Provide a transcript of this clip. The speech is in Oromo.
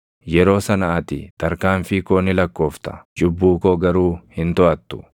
Yeroo sana ati tarkaanfii koo ni lakkoofta; cubbuu koo garuu hin toʼattu.